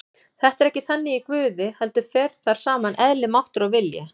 Þetta er ekki þannig í Guði heldur fer þar saman eðli, máttur og vilji.